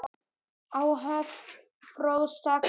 Áhöfn Fróða sakaði ekki.